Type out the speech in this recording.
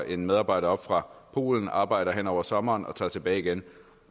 en medarbejder op fra polen arbejder hen over sommeren og tager tilbage igen